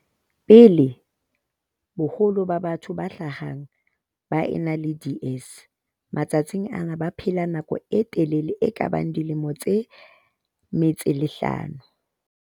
pele, boholo ba batho ba hlahang ba ena le DS matsatsing ana ba baphela nako e telele e kabang dilemo tse 55.